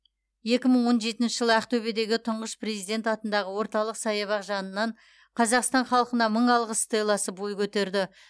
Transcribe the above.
екі мың он жетінші жылы ақтөбедегі тұңғыш президент атындағы орталық саябақ жанынан қазақстан халқына мың алғыс стелласы бой көтерді